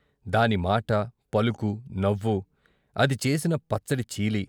దానిమాట, పలుకు, నవ్వు, అది చేసిన పచ్చడి చీలీ.